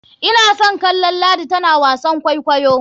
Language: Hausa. Ina son kallon ladi tana wasan kwaikwayo.